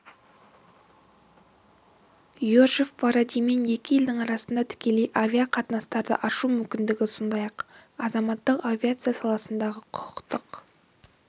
йожеф варадимен екі елдің арасында тікелей авиа қатынастарды ашу мүмкіндігі сондай-ақ азаматтық авиация саласындағы құқықтық